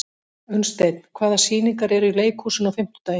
Unnsteinn, hvaða sýningar eru í leikhúsinu á fimmtudaginn?